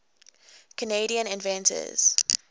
canadian inventors